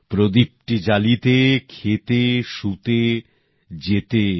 প্রদীপটি জ্বালিতে খেতে শুতে যেতে